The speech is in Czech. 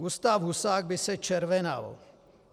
Gustáv Husák by se červenal.